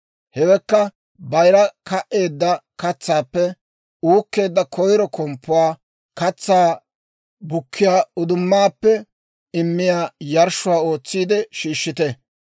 Hewekka, bayira ka"eedda katsaappe uukkeedda koyiro komppuwaa, katsaa bukkiyaa uddumaappe immiyaa yarshshuwaa ootsiide shiishshite.